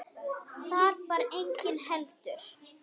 Þar var enginn heldur.